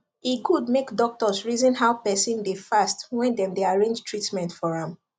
e good make doctors reason how person dey fast when dem dey arrange treatment for am